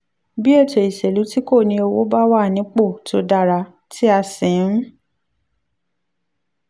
bí ètò ìṣèlú tí kò ní owó bá wà nípò tó dára tí a sì ń